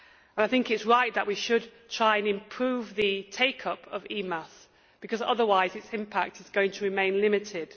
I think it is right that we should try and improve the take up of EMAS, because otherwise its impact is going to remain limited.